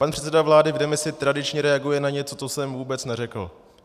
Pan předseda vlády v demisi tradičně reaguje na něco, co jsem vůbec neřekl.